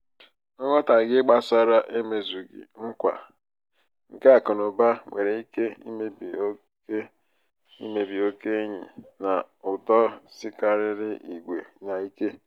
nghọtahie gbásárá emezughị nkwa nke akụnaụba nwéré ike imebi okè imebi okè enyi na ụtọ sikarịrị ígwè n'ike.